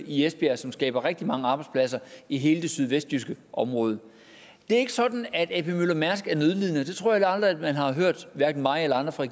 i esbjerg som skaber rigtig mange arbejdspladser i hele det sydvestjyske område det er ikke sådan at a p møller mærsk er nødlidende det tror jeg aldrig man har hørt hverken mig eller andre fra